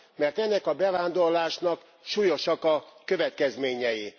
Mert ennek a bevándorlásnak súlyosak a következményei.